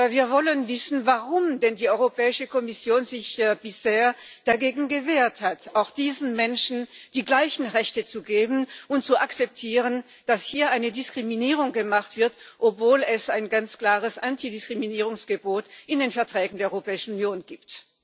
Wir wollen wissen, warum sich denn die Europäische Kommission bisher dagegen gewehrt hat, auch diesen Menschen die gleichen Rechte zu geben und zu akzeptieren, dass hier eine Diskriminierung gemacht wird, obwohl es ein ganz klares Antidiskriminierungsgebot in den Verträgen der Europäischen Union gibt.